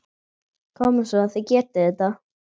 Koma svo, þið getið þetta!